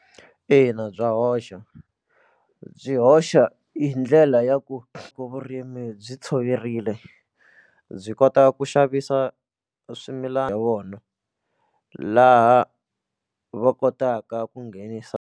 Ina, bya hoxa byi hoxa hi ndlela ya ku loko vurimi byi tshoverile byi kota ku xavisa swimilana vona laha va kotaka ku nghenisa.